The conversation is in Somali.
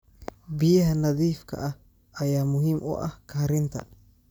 Biyaha nadiifka ah ayaa muhiim u ah karinta.